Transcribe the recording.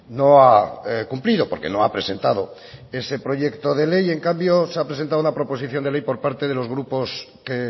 no ha cumplido porque no ha presentado ese proyecto de ley en cambio se ha presentado la proposición de ley por parte de los grupos que